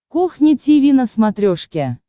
кухня тиви на смотрешке